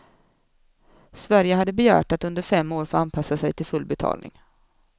Sverige hade begärt att under fem år få anpassa sig till full betalning.